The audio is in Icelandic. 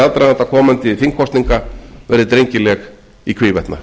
aðdraganda komandi þingkosninga verði drengileg í hvívetna